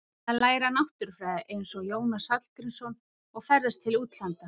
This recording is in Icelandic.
Ég ætla að læra náttúrufræði eins og Jónas Hallgrímsson og ferðast til útlanda.